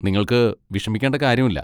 നിങ്ങൾക്ക് വിഷമിക്കേണ്ട കാര്യമില്ല.